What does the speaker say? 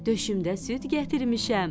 Döşümdə süd gətirmişəm.